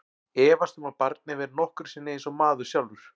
Efast um að barnið verði nokkru sinni eins og maður sjálfur.